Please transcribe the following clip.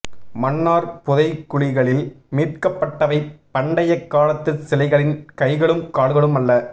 மன்னார் புதைகுழிகளில் மீட்கப்பட்டவை பண்டைய காலத்து சிலைகளின் கைகளும் கால்களும் அல்ல